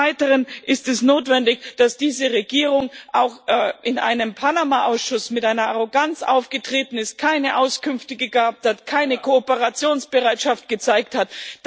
Des Weiteren Ist es notwendig, dass diese Regierung auch in einem Panama Ausschuss mit einer Arroganz aufgetreten ist, keine Auskünfte gab, keine Kooperationsbereitschaft gezeigt hat?